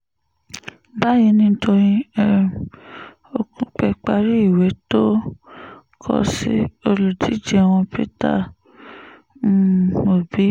báyìí ni dọ́yìn um òkùpẹ́ parí ìwé tó kọ sí olùdíje wọn peter um obi